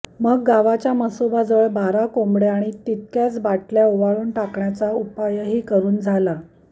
मग गावच्या म्हसोबाजवळ बारा कोंबड्या आणि तितक्याच बाटल्या ओवाळून टाकण्याचा उपायही करून झाला